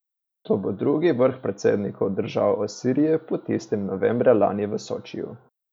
To bo drugi vrh predsednikov držav o Siriji po tistem novembra lani v Sočiju.